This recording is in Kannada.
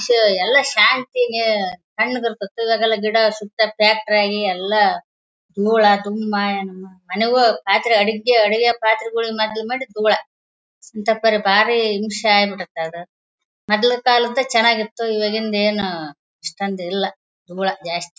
ಷ ಎಲ್ಲಾ ಶಾಂತಿಯಿಂದ ತಣ್ಣಗಿರ್ತಿತು ಈವಾಗೆಲ್ಲ ಗಿಡ ಸುತ್ತ ಫ್ಯಾಕ್ಟರಿ ಆಗಿ ಎಲ್ಲಾ ದೂಳ ಮನೆಗೂ ಪಾತ್ರೆ ಅಡಿಗೆ ಅಡಿಗೆ ಪಾತ್ರೆಗಳು ತುಂಬಾ ದೂಳ ಬಾರಿ ಹಿಂಸೆ ಆಗ್ಬಿಟ್ಟೈತೆ ಅದ ಮೊದಲಿನ ಕಾಲದ್ದು ಚೆನ್ನಾಗಿತ್ತು ಇವಾಂಗಿದ್ ಏನ್ ಅಷ್ಟೊಂದ್ ಇಲ್ಲ ದೂಳ ಜಾಸ್ತಿ .